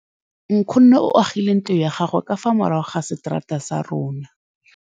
Nkgonne o agile ntlo ya gagwe ka fa morago ga seterata sa rona.